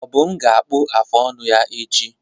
Obum ga-akpacha afụ ọnụ ya echi.